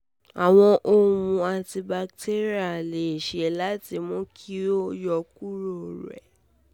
um awọn ohun-ọṣọ um antibacterial le ṣee ṣe lati mu ki um o yọkuro rẹ